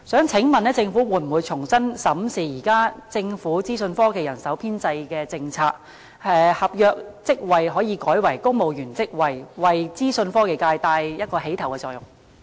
請問政府會否重新審視政府現行的資訊科技人手編制政策，將合約職位改為公務員職位，為資訊科技界發起牽頭作用？